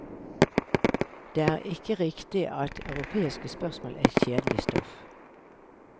Det er ikke riktig at europeiske spørsmål er kjedelig stoff.